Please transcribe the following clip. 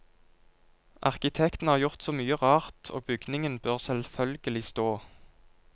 Arkitektene har gjort så mye rart og bygningen bør selvfølgelig stå.